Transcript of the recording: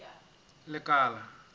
lekala